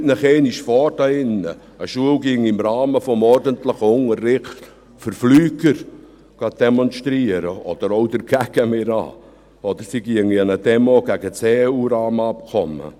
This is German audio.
Stellen Sie sich einmal vor, eine Schule würde im Rahmen des ordentlichen Unterrichts für Flieger demonstrieren, oder meinetwegen auch dagegen, oder sie ginge an eine Demo gegen das EU-Rahmenabkommen.